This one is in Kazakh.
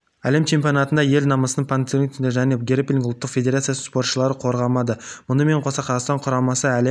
әлем чемпионатында ел намысын панкратион және грэпплинг ұлттық федерациясының спортшылары қорғады мұнымен қоса қазақстан құрамасы әлем